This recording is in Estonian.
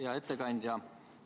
Hea ettekandja!